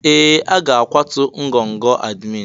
Ee! A ga-akwatu ngọngọ admin.